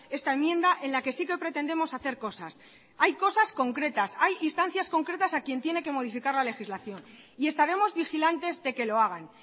esta enmienda en la que sí que pretendemos hacer cosas hay cosas concretas hay instancias concretas a quien tiene que modificar la legislación y estaremos vigilantes de que lo hagan